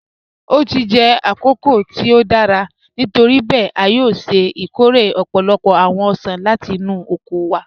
O ti jẹ́ àkókò tí o dára, nítoríbẹẹ̀, a yòò ṣẹ́ ikóre ọ̀pọ̀lọ́pọ̀ awọn ọṣan láti inú oko wa